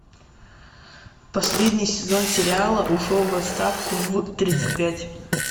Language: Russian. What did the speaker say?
последний сезон сериала ушел в отставку в тридцать пять